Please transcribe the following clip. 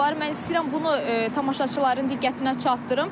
Mən istəyirəm bunu tamaşaçıların diqqətinə çatdırım.